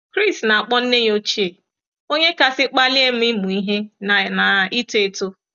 Chris na-akpọ nne ya ochie “ onye kasị kpalie m ịmụ ihe na na ito eto. ”